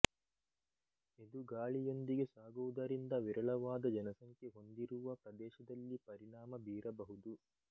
ಇದು ಗಾಳಿಯೊಂದಿಗೆ ಸಾಗುವುದರಿಂದ ವಿರಳವಾದ ಜನಸಂಖ್ಯೆ ಹೊಂದಿರುವ ಪ್ರದೇಶದಲ್ಲಿ ಪರಿಣಾಮ ಬೀರಬಹುದು